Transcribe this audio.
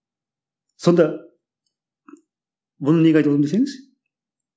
сонда бұны неге айтып отырмын десеңіз